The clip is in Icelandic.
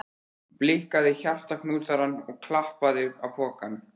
Blikkaði hjartaknúsarann og klappaði á pokann.